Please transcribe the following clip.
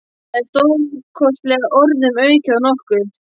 Það er stórlega orðum aukið að nokkuð.